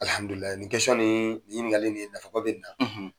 Alihamidulilayi nin ni ni ɲininkali nin ye nafa ba bɛ nin na.